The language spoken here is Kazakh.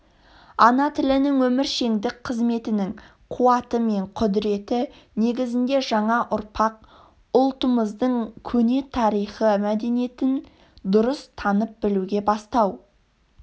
ана тілінің өміршеңдік қызметінің қуаты мен құдіреті негізінде жаңа ұрпақ ұлтымыздың көне тарихы мәдениетін дұрыс танып білуге бастау